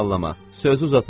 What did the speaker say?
Sözü uzatmayacam.